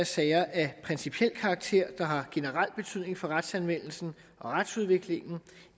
sager af principiel karakter der har generel betydning for retsanvendelsen og retsudviklingen